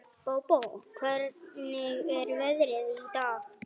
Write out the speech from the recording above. Bóbó, hvernig er veðrið í dag?